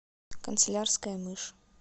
канцелярская мышь